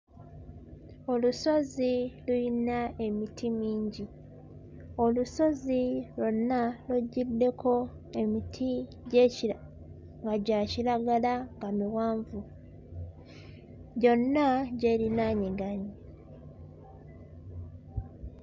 Olusozi luyina emiti mingi. Olusozi lwonna lujjuddeko emiti gy'ekira nga gya kiragala nga miwanvu, gyonna gy'erinaaniganye.